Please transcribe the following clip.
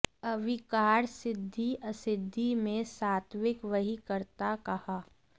अविकार सिद्धि असिद्धि में सात्त्विक वही कर्ता कहा